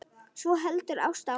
Svo heldur Ásta áfram